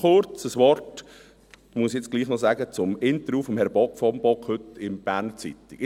Noch kurz ein Wort – ich muss das jetzt doch noch sagen – zum Interview mit Herrn von Bock heute in der «Berner Zeitung».